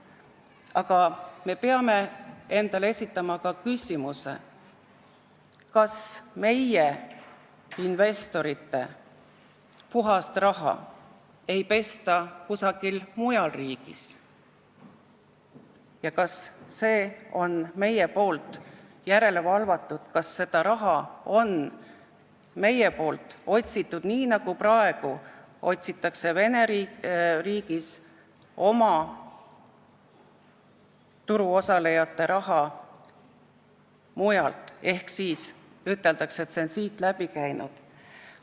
Aga me peame esitama endale küsimuse, kas meie investorite puhast raha ei pesta kusagil mujal riigis ja kas me ikka valvame selle järele, kas me oleme seda raha otsinud nii, nagu praegu otsib Vene riik oma turuosalejate raha mujalt, st öeldakse, et see on siit läbi käinud.